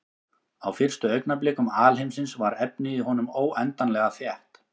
Á fyrstu augnablikum alheimsins var efnið í honum óendanlega þétt.